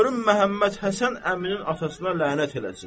Görüm Məhəmməd Həsən əminin atasına lənət eləsin.